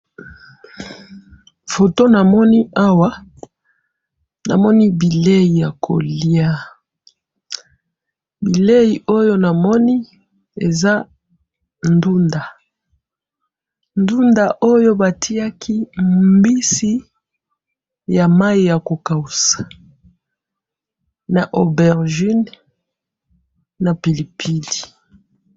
photo namoni awa namoni bileyi yakolia bileyi oyo namoni ezandunda ndunda oyo batiaki mbisi yamayi yakokausa na obergine na pili pili